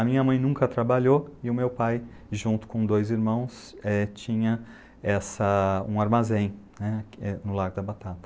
A minha mãe nunca trabalhou e o meu pai, junto com dois irmãos, é tinha essa... um armazém, né, no Largo da Batata.